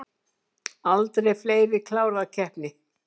Aldrei fleiri klárað keppni